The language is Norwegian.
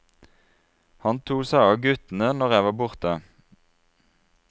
Han tok seg av av guttene når jeg var borte.